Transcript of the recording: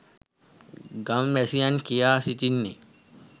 ගම් වැසියන් කියා සිටින්නේ